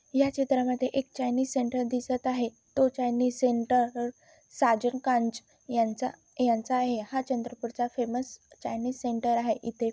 या चित्रा मध्ये एक चाईनीज सेंटर दिसत आहे तो चाईनीज सेंटर र- साजन कांच यांचा यांचा आहे हा चंद्रपुरचा फेमस चाईनीज सेंटर आहे. इथे --